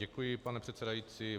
Děkuji, pane předsedající.